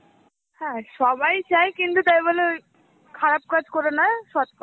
হ্যাঁ সবাই চায় কিন্তু তাই বলে ওই খারাপ কাজ করে নয় সৎ পথে.